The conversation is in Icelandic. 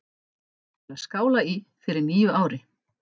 Til að skála í fyrir nýju ári.